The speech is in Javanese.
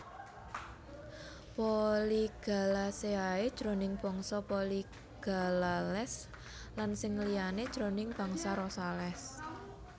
Polygalaceae jroning bangsa Polygalales lan sing liyané jroning bangsa Rosales